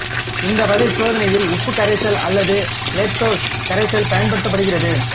இந்த வகை சோதனையில் உப்பு கரைசல் அல்லது கேலக்டோஸ் கரைசல் பயன்படுத்தப்படுகிறது